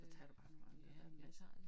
Så tag du bare nogle andre der masser